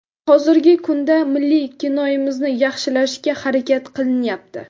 Hozirgi kunda milliy kinoimizni yaxshilashga harakat qilinyapti.